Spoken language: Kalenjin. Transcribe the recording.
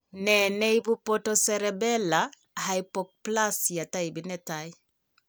Nee neibu pontocerebellar hypoplasia taipit netaa